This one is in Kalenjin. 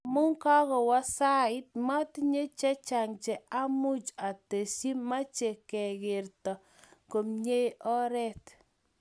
Amu kagowo sait, matinye chechang Cha much atestyi ,meche kegertoo komnyei oret